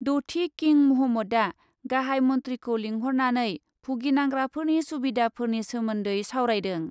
द'थि किं मुहम्मदआ गाहाइ मन्थ्रिखौ लिंहरनानै भुगिनांग्राफोरनि सुबिधाफोरनि सोमोन्दै सावरायदों।